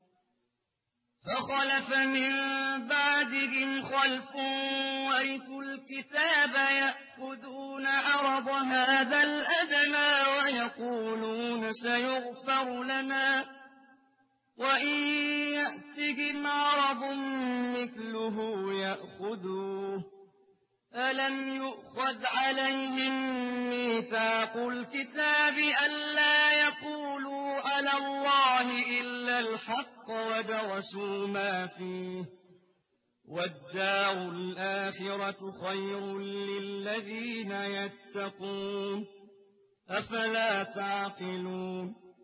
فَخَلَفَ مِن بَعْدِهِمْ خَلْفٌ وَرِثُوا الْكِتَابَ يَأْخُذُونَ عَرَضَ هَٰذَا الْأَدْنَىٰ وَيَقُولُونَ سَيُغْفَرُ لَنَا وَإِن يَأْتِهِمْ عَرَضٌ مِّثْلُهُ يَأْخُذُوهُ ۚ أَلَمْ يُؤْخَذْ عَلَيْهِم مِّيثَاقُ الْكِتَابِ أَن لَّا يَقُولُوا عَلَى اللَّهِ إِلَّا الْحَقَّ وَدَرَسُوا مَا فِيهِ ۗ وَالدَّارُ الْآخِرَةُ خَيْرٌ لِّلَّذِينَ يَتَّقُونَ ۗ أَفَلَا تَعْقِلُونَ